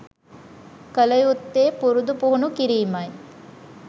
කළ යුත්තේ පුරුදු පුහුණු කිරීමයි.